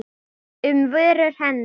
um vörum hennar.